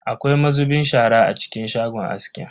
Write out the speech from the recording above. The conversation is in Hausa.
Akwai mazubin shara a cikin shagon askin?